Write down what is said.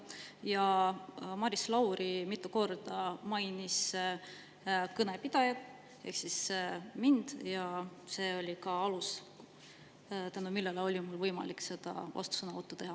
Maris Lauri mainis kõnepidajat ehk mind mitu korda ja selle alusel oli mul võimalik seda vastusõnavõttu teha.